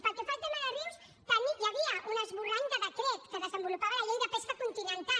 pel que fa al tema de rius hi havia un esborrany de decret que desenvolupava la llei de pesca continental